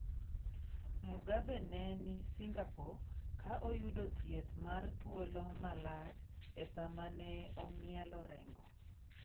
Mugabe ne ni Singapore ka oyudo thieth mar thuolo malach e sama ne ong'ielo rengo.